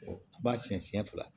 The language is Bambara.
Ba siɲɛ siɲɛ fila